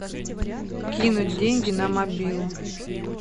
кинуть деньги на мобилу